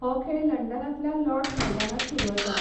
हो खेळ लंडनांतल्या लॉर्डस मैदानार सुरू आसा.